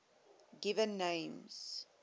given names